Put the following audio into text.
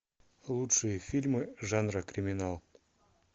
лучшие фильмы жанра криминал